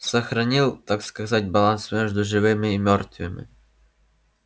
сохранил так сказать баланс между живыми и мёртвыми